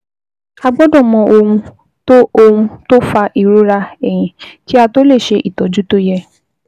A gbọ́dọ̀ mọ ohun tó ohun tó fa ìrora ẹ̀yìn kí a tó lè ṣe ìtọ́jú tó yẹ